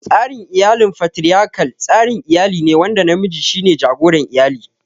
Tsarin iyalin Fatiriyakal, tsarin iyali ne wanda namiji shi ne jagoran iyali.